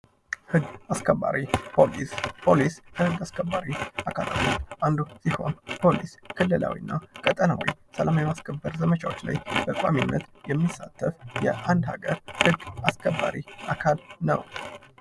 ህግ አስከባሪ ፖሊስ፤ ፖሊስ ግ አስከባሪ አካል አንዱ ሲሆን ፖሊስ ክልላዊና ቀጠናዊ ሰላም የማስከበር ዘመቻዎች በቋሚነት የሚሳተፍ የአንድ ሀገር ህግ አስከባሪ አካል ነው።